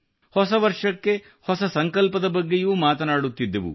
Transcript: ಹೊಸ ವರ್ಷಕ್ಕೆ ಹೊಸ ಸಂಕಲ್ಪದ ಬಗ್ಗೆಯೂ ಮಾತನಾಡುತ್ತಿದ್ದೆವು